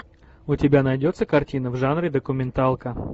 у тебя найдется картина в жанре документалка